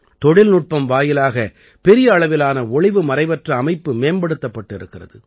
தொழில்நுட்பம் வாயிலாக பெரிய அளவிலான ஒளிவுமறைவற்ற அமைப்பு மேம்படுத்தப்பட்டு இருக்கிறது